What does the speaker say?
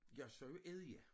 Jeg siger jo æddja